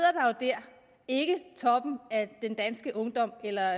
toppen af den danske ungdom eller